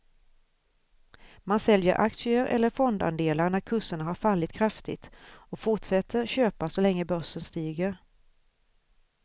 Man säljer aktier eller fondandelar när kurserna har fallit kraftigt och fortsätter köpa så länge börsen stiger.